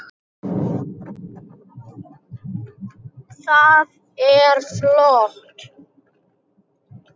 Það er flott.